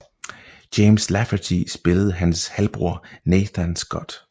James Lafferty spillede hans halvbror Nathan Scott